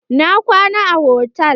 Na kwana a hotal.